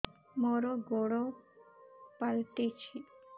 ମୋର ଗୋଡ଼ ପାଲଟିଛି